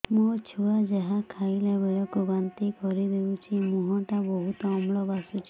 ମୋ ଛୁଆ ଯାହା ଖାଇଲା ବେଳକୁ ବାନ୍ତି କରିଦଉଛି ମୁହଁ ଟା ବହୁତ ଅମ୍ଳ ବାସୁଛି